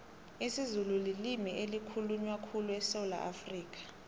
isizulu lilimu elikhulunywa khulu esewula afrikha